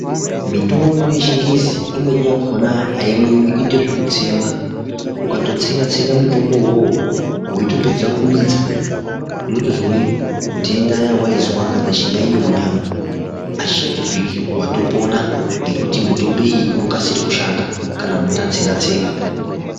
Mitombo yechingezi imweni yakona aimwiwi inoita zvekutsengwa ukatotsenga tsenga mitombi uwowo weitopedza kumedza unotozwe ndenta yawaizwa kana chiyaiyo munyama , achichatozwiki watopona nekuti mutombo iyi inokasira kushanga kana munhu atsenga tsenga